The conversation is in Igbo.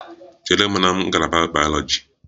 Chere m na ngalaba bayoloji!